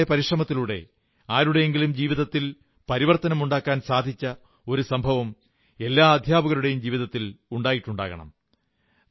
സഹജമായ പരിശ്രമത്തിലൂടെ ആരുടെയെങ്കിലും ജീവിതത്തിൽ പരിവർത്തനമുണ്ടാക്കാൻ സാധിച്ച ഒരു സംഭവം എല്ലാ അധ്യാപകരുടെയും ജീവതത്തിൽ ഉണ്ടായിട്ടുണ്ടാകണം